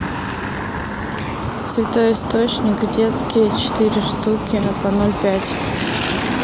святой источник детский четыре штуки по ноль пять